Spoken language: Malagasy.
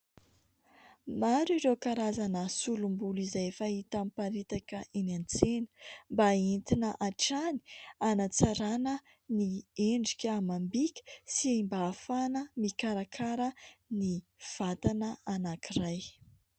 Maro ireo karazana solombolo izay efa hita mparitaka eny an-tsena mba entina hatrany hanatsarana ny endrika amam-bika sy mba hafahana mikarakara ny vatana anankiray.